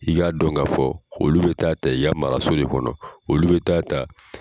I y'a dɔn ka fɔ olu bɛ taa ta i ya maraso de kɔnɔ, olu bɛ taa ta